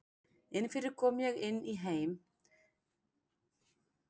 Inni fyrir kom ég inn í heim sem virtist tilheyra fyrri tíma.